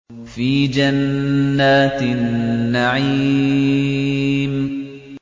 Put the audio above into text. فِي جَنَّاتِ النَّعِيمِ